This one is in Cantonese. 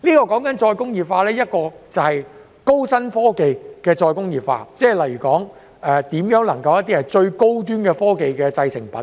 我所說的是高新科技的再工業化，例如如何能夠生產最高端科技的製成品。